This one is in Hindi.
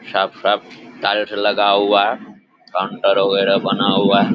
साफ़-साफ़ टायर लगा हुआ है काउंटर वगैरा बना हुआ है ।